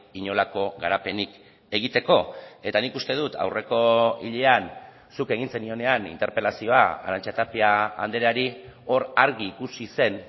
inolako garapenik egiteko eta nik uste dut aurreko hilean zuk egin zenionean interpelazioa arantxa tapia andreari hor argi ikusi zen